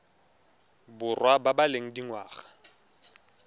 borwa ba ba leng dingwaga